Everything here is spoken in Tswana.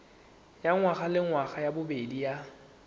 ya ngwagalengwaga ya bobedi ya